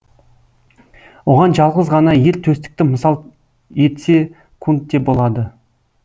оған жалғыз ғана ер төстікті мысал етсек те болады